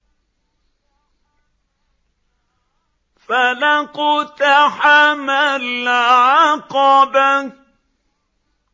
فَلَا اقْتَحَمَ الْعَقَبَةَ